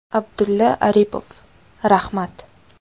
Abdulla Aripov: Rahmat!